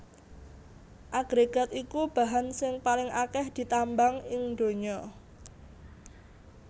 Agrégat iku bahan sing paling akèh ditambang ing donya